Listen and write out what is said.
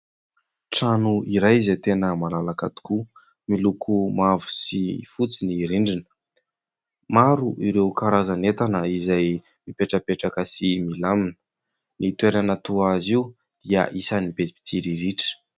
Trano iray izay tena malalaka tokoa, miloko mavo sy fotsy ny rindrina, maro ireo karazan'entana izay mipetrapetraka sy milamina, ny toerana toa azy io dia isany be pitsiriritra.